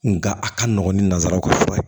Nga a ka nɔgɔn ni nanzaraw ka fura ye